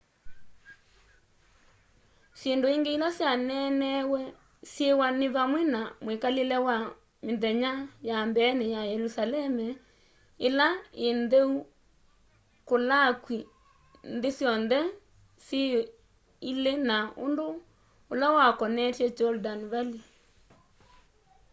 syindu ingi ila syaneneewe syiwa ni vamwe na mwikalile wa mthenya ya mbeeni ya yelusalemu ila ii ntheu kulakwi nthi syonthe syi ili na undu ula wakonetye jordan valley